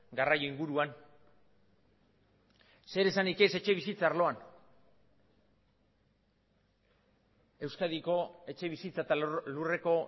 garraio inguruan zer esanik ez etxebizitza arloan euskadiko etxebizitza eta lurreko